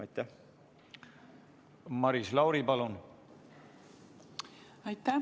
Maris Lauri, palun!